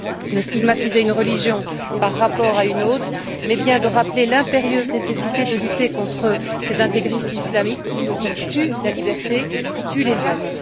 de stigmatiser une religion par rapport à une autre mais bien de rappeler l'impérieuse nécessité de lutter contre ces intégristes islamiques qui tuent la liberté et tuent les hommes.